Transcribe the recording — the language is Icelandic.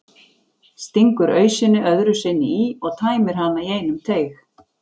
Stingur ausunni öðru sinni í og tæmir hana í einum teyg.